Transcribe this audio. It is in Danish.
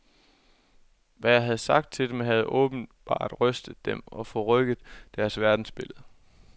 Hvad jeg havde sagt til dem, havde åbenbart rystet dem og forrykket deres verdensbillede.